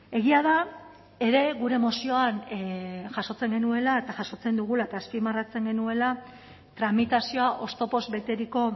egia da ere gure mozioan jasotzen genuela eta jasotzen dugula eta azpimarratzen genuela tramitazioa oztopoz beteriko